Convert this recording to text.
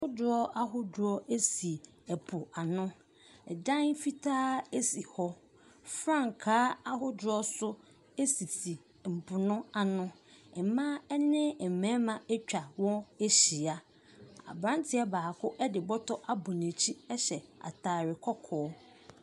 Kodoɔ ahodoɔ ɛsi ɛpo ano. Ɛdan fitaa ɛsi hɔ. Frankaa ahodoɔ so ɛsisi ɛmpo no ano. Ɛmaa ɛne mmɛɛma atwa hɔ ahyia. Aberanteɛ baako ɛde bɔtɔ abɔ n'akyi ɛhye ataare kɔkɔɔ.